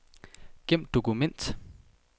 Gem dokument.